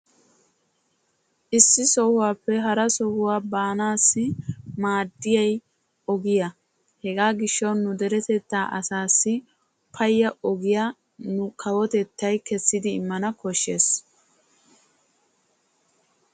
issi sohuwappe hara sohuwa baanassi maadiyay ogiya. hegaa gishshawu nu deretettaa asaassi paya ogiya nu kawotettay kessidi immana koshshees.